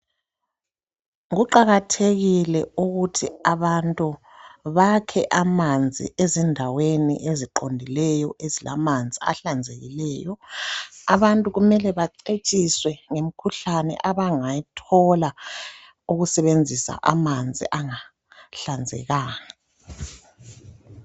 Kuqakathekile ukuthi abantu bakhe amanzi ezindaweni eziqondileyo ezilamanzi ahlanzekileyo. Abantu kumele bacetshiswe ngumkhuhlane abangayithola ukusebenzisa amanzi angahlanzekanga.